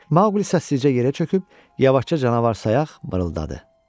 Maqli səssizcə yerə çöküb yavaşca canavar sayaq barıldadı.